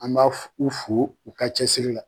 An b'a u fo u ka cɛsiri la.